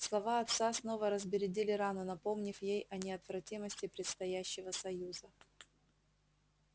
слова отца снова разбередили рану напомнив ей о неотвратимости предстоящего союза